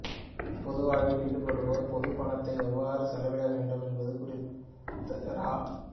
பொது வாழ்வில் ஈடுபடுவோர் பொதுப்பணத்தை எவ்வாறு செலவிடவேண்டும் என்பது குறித்து ரா